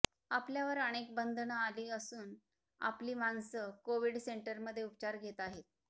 आपल्यावर अनेक बंधनं आली असून आपली माणसं कोविड सेंटरमध्ये उपचार घेत आहेत